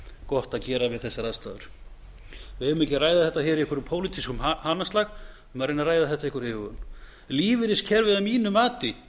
gott að gera við þessar aðstæður við eigum ekki að ræða þetta í einhverjum pólitískum hanaslag við eigum að reyna að ræða þetta af einhverri íhugun lífeyriskerfið að mínu mati